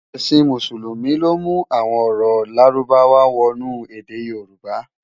Èsin Músùlúmi ló mú awòn òrò lárúbáwá wònú èdè yorùbá